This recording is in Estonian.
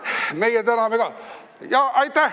Meie täname ka.